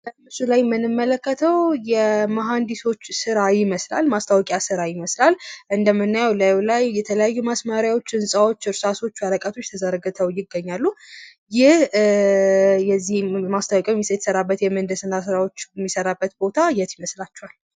በምስሉ ላይ የምንመለከተው የመሃንድሶች ስራ ይመስላል፣ እንደምናየው እላሉ ላይ የተለያዩ ወረቀቶች፣ እርሳሶች፣ ህንጻዎች ፣ ተዘርግተው ይገኛሉ፤ የዚህ ማስታወቂያ የሚሰራበት ቦታ የት ይመስላችኋል?